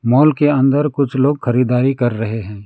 Mall के अंदर कुछ लोग खरीदारी कर रहे हैं।